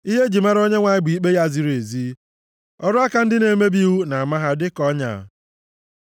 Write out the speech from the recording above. Ihe e ji mara Onyenwe anyị bụ ikpe ya ziri ezi; ọrụ aka ndị na-emebi iwu na-ama ha dịka ọnya. Sela